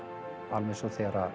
alveg eins og þegar